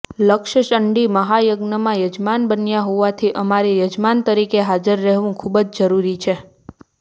લક્ષચંડી મહાયજ્ઞના યજમાન બન્યા હોવાથી અમારે યજમાન તરીકે હાજર રહેવું ખૂબ જ જરૂરી છે